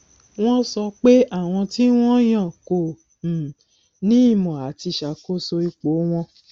wọn sọ pé àwọn tí wọn yàn kò um ní ìmọ àti ṣàkóso ipò wọn